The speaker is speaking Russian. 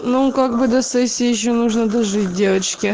ну как бы до сессии ещё нужно дожить девочки